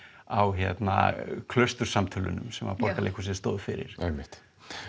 á sem Borgarleikhúsið stóð fyrir einmitt